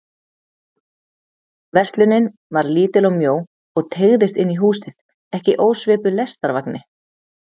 Verslunin var lítil og mjó og teygðist inn í húsið, ekki ósvipuð lestarvagni.